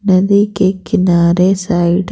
नदी के किनारे साइड --